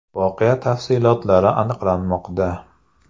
Voqea tafsilotlari aniqlanmoqda.